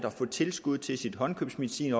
og få tilskud til sin håndkøbsmedicin